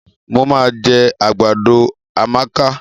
Mo ma jẹ àgbàdo Amaka.